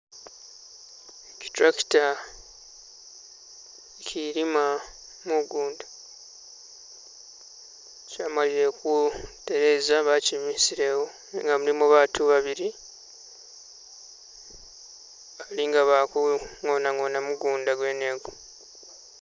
Ki tractor ikilimo mugunda. kyamalile ku tereeza bakimisilewo nenga mulimu baatu babili, bali nga bali ku ngona ngona mugunda gwene egu.